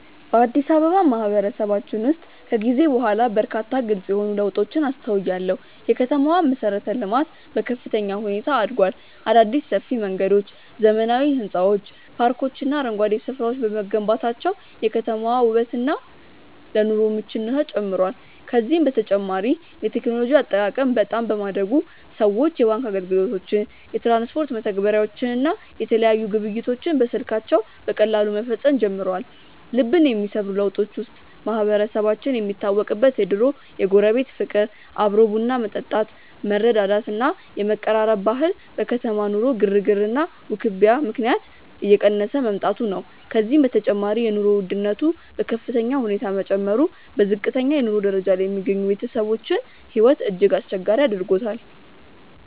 በአዲስ አበባ ማህበረሰባችን ውስጥ ከጊዜ በኋላ በርካታ ግልጽ የሆኑ ለውጦችን አስተውያለሁ። የከተማዋ መሠረተ-ልማት በከፍተኛ ሁኔታ አድጓል። አዳዲስ ሰፊ መንገዶች፣ ዘመናዊ ሕንፃዎች፣ ፓርኮችና አረንጓዴ ስፍራዎች በመገንባታቸው የከተማዋ ውበትና ለኑሮ ምቹነቷ ጨምሯል። ከዚህም በተጨማሪ የቴክኖሎጂ አጠቃቀም በጣም በማደጉ ሰዎች የባንክ አገልግሎቶችን፣ የትራንስፖርት መተግበሪያዎችን እና የተለያዩ ግብይቶችን በስልካቸው በቀላሉ መፈጸም ጀምረዋል። ልብን የሚሰብሩ ለውጦች ውስጥ ማህበረሰባችን የሚታወቅበት የድሮው የጎረቤት ፍቅር፣ አብሮ ቡና መጠጣት፣ መረዳዳት እና የመቀራረብ ባህል በከተማ ኑሮ ግርግርና ውክቢያ ምክንያት እየቀነሰ መምጣቱ ነው። ከዚህም በተጨማሪ የኑሮ ውድነቱ በከፍተኛ ሁኔታ መጨመሩ በዝቅተኛ የኑሮ ደረጃ ላይ የሚገኙ ቤተሰቦችን ሕይወት እጅግ አስቸጋሪ አድርጎታል።